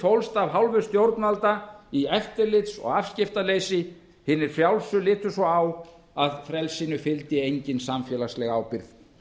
fólst af hálfu stjórnvalda í eftirlits og afskiptaleysi hinir frjálsu litu svo á að frelsinu fylgdi engin samfélagsleg ábyrgð